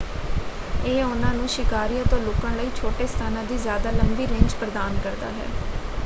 ਇਹ ਉਹਨਾਂ ਨੂੰ ਸ਼ਿਕਾਰੀਆਂ ਤੋਂ ਲੁਕਣ ਲਈ ਛੋਟੇ ਸਥਾਨਾਂ ਦੀ ਜਿਆਦਾ ਲੰਬੀ ਰੇਂਜ ਪ੍ਰਦਾਨ ਕਰਦਾ ਹੈ।